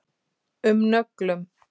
um nöglum.